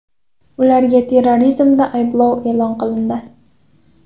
Ularga terrorizmda ayblov e’lon qilindi.